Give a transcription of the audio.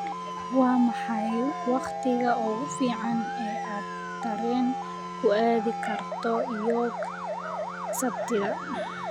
waa maxay wakhtiga ugu fiican ee aad tareen ku aadi karto york sabtida